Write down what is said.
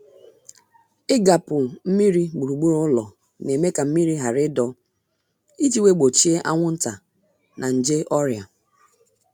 Igapu mmiri gburugburu ụlọ na-eme ka mmiri ghara ịdọ iji wee gbochie anwụnta na na nje ọrịa